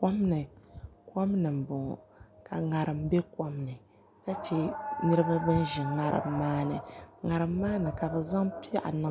Kom ni n boŋo ka ŋarim bɛ kom ni ka chɛ niraba bin bɛ ŋarim maa ni ŋarim maa ni ka bi zaŋ piɛɣu